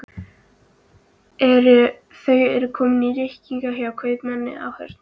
Þau eru komin í reikning hjá kaupmanninum á horninu.